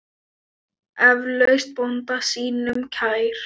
Eflaust bónda sínum kær.